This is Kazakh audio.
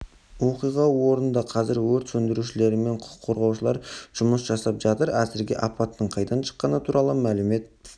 оқиға орнында қазір өрт сөндірушілер мен құтқарушылар жұмыс жасап жатыр әзірге апаттың қайдан шыққаны туралы мәлімет